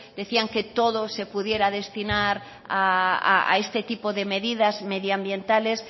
decían que todo se pudiera destinar a este tipo de medidas medioambientales